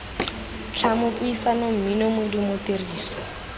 tlhamo puisano mmino modumo tiriso